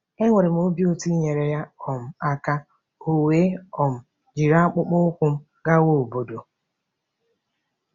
Enwere m obi ụtọ inyere ya um aka, o wee um jiri akpụkpọ ụkwụ m gawa obodo.